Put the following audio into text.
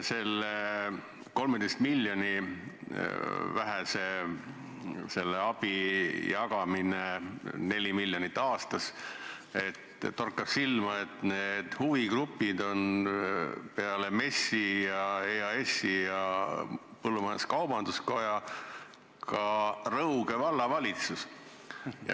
Selle 13 miljoni eurose abi jagamisel, 4 miljonit aastas, torkab silma, et huvigrupid on peale MES-i, EAS-i ja põllumajandus-kaubanduskoja ka Rõuge Vallavalitsus.